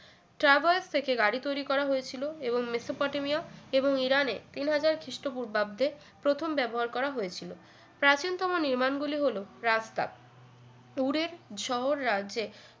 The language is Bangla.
travels থেকে গাড়ি তৈরি করা হয়েছিল এবং মেসোপটেমিয়া এবং ইরানের তিন হাজার খ্রিষ্টপূর্বাব্দে প্রথম ব্যবহার করা হয়েছিল প্রাচীনতম নির্মাণ গুলি হল রাস্তা tour এর শহর রাজ্যে